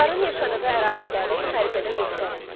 Hunların yaşadığı əraziləri xəritədə göstərin.